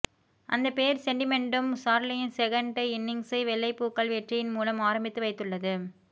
அந்த பெயர் செண்டிமெண்ட்டும் சார்லியின் செகண்ட் இன்னிங்ஸை வெள்ளைப்பூக்கள் வெற்றியின் மூலம் ஆரம்பித்து வைத்துள்ளது